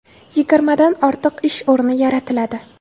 Yigirmadan ortiq ish o‘rni yaratiladi.